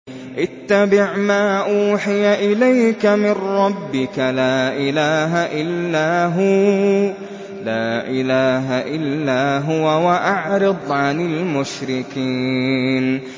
اتَّبِعْ مَا أُوحِيَ إِلَيْكَ مِن رَّبِّكَ ۖ لَا إِلَٰهَ إِلَّا هُوَ ۖ وَأَعْرِضْ عَنِ الْمُشْرِكِينَ